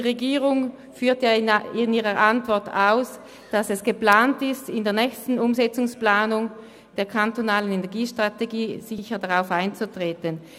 Die Regierung führt in ihrer Antwort denn auch aus, es sei geplant, in der nächsten Umsetzungsplanung der kantonalen Energiestrategie sicher darauf einzutreten.